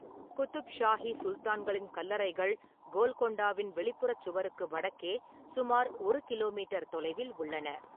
குதுப் ஷாஹி சுல்தான்களின் கல்லறைகள் கோல்கொண்டாவின் வெளிப்புறச் சுவருக்கு வடக்கே சுமார் ஒரு கிலோமீட்டர் தொலைவில் உள்ளன.